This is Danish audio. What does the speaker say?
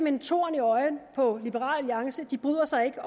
en torn i øjet på liberal alliance de bryder sig ikke